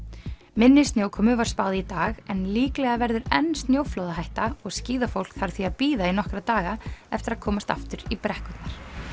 minni snjókomu var spáð í dag en líklega verður enn snjóflóðahætta og skíðafólk þarf því að bíða í nokkra daga eftir að komast aftur í brekkurnar